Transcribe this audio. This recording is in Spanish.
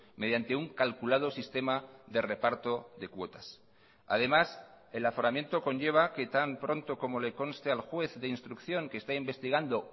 mediante un calculado sistema de reparto de cuotas además el aforamiento conlleva que tan pronto como le conste al juez de instrucción que está investigando